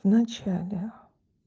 в начале